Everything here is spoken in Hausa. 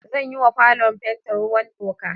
Zan yi wa falon fenti ruwan toka